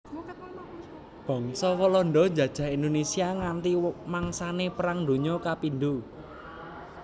Bangsa Walanda njajah Indonésia nganti mangsané Perang Donya Kapindho